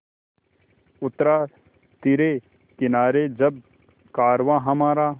उतरा तिरे किनारे जब कारवाँ हमारा